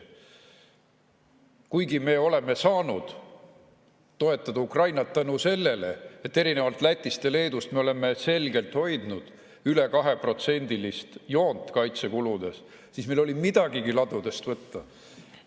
Kuigi me oleme saanud Ukrainat toetada tänu sellele, et erinevalt Lätist ja Leedust me oleme selgelt hoidnud üle 2%-list joont kaitsekuludes, siis meil oli midagigi ladudest võtta.